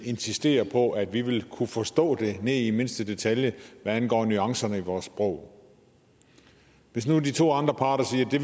insisterer på at vi vil kunne forstå det ned i mindste detalje hvad angår nuancerne i vores sprog hvis nu de to andre parter sagde at de